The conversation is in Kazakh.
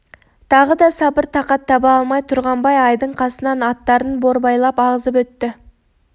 тағы да сабыр тақат таба алмай тұрғанбай айдың қасынан аттарын борбайлап ағызып өтті